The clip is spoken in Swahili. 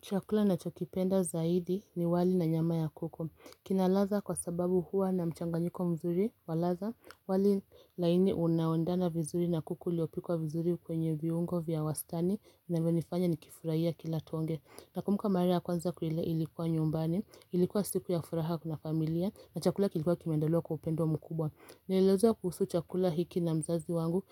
Chakula nachokipenda zaidi ni wali na nyama ya kuku. Kina radha kwa sababu huwa na mchanganyiko mzuri wa radha. Wali laini unaoendana vizuri na kuku liopi kwa vizuri kwenye viungo vya wastani na vimenifanya nikifurahia kila tuongee. Nakumbuka mara kwanza kulia ilikuwa nyumbani, ilikuwa siku ya furaha kwa familia na chakula kilikuwa kimendaliwa kwa upendo mkubwa. Nilielezewa kuhusu chakula hiki na mzazi wangu,